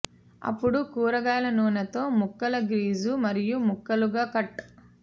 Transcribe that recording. అప్పుడు కూరగాయల నూనె తో ముక్కలు గ్రీజు మరియు ముక్కలుగా కట్